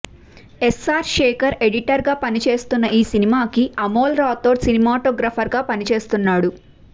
SR Shekhar editor గా పనిచేస్తున్న ఈ సినిమాకి అమోల్ రాథోడ్ సినిమాటోగ్రాఫర్ గాపనిచేస్తున్నాడు